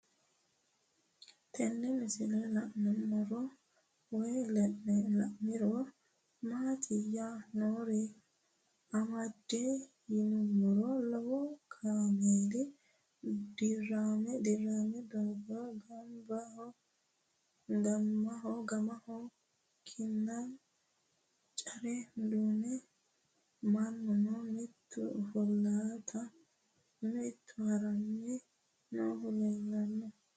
Tenne misilenni la'nanniri woy leellannori maattiya noori amadde yinummoro lowo kaammeeli diramme daanna gamaho kinna care duunenna mannunno mittu offolitte mitu haranni noohu leellanno